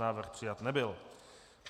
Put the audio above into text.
Návrh přijat nebyl.